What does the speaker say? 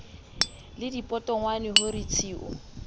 le dipotongwane ho re tshiu